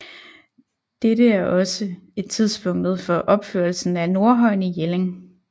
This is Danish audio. Dette er også er tidspunktet for opførelsen af Nordhøjen i Jelling